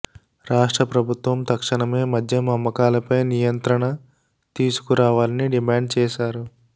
రాష్ట్ర ప్రభుత్వం తక్షణమే మద్యం అమ్మకాలపై నియంత్రణ తీసుకురావాలని డిమాండ్ చేశారు